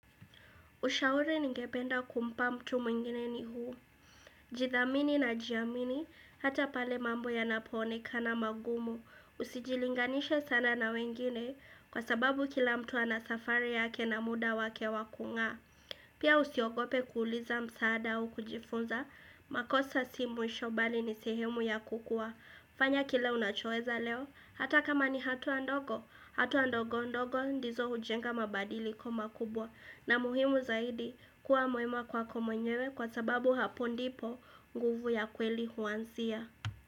Ushauri ningependa kumpa mtu mwingine ni huu. Jithamini na jiamini, hata pale mambo yanaponeka na magumu. Usijilinganishe sana na wengine kwa sababu kila mtu anasafari yake na muda wake wakung'a. Pia usiogope kuuliza msaada au kujifunza, makosa si mwisho bali ni sehemu ya kukua. Fanya kile unachoeza leo, hata kama ni hatua ndogo, hatua ndogo ndogo ndizo hujenga mabadiliko makubwa. Na muhimu zaidi kuwa mwema kwako mwenyewe kwa sababu hapo ndipo nguvu ya kweli huanzia.